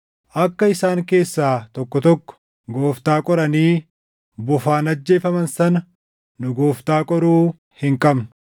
Akka isaan keessaa tokko tokko Gooftaa qoranii bofaan ajjeefaman sana nu Gooftaa qoruu hin qabnu.